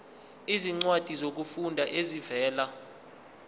izincwadi zokufunda ezivela